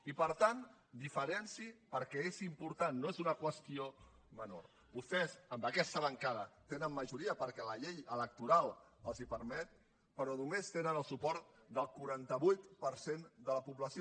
i per tant diferenciï ho perquè és important no és una qüestió menor vostès en aquesta bancada tenen majoria perquè la llei electoral els ho permet però només tenen el suport del quaranta vuit per cent de la població